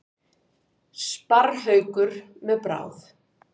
Sparrhaukur með bráð.